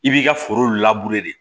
I b'i ka foro de